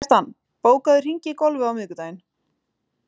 Kjartan, bókaðu hring í golf á miðvikudaginn.